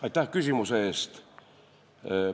Aitäh küsimuse eest!